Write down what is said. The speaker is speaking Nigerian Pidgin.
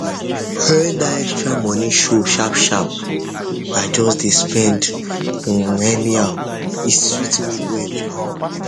when that extra money show sharp sharp i just dey spend um anyhow e sweet me well